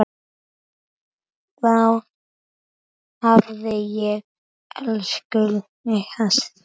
Vá, hvað ég elskaði þig.